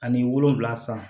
Ani wolonfila san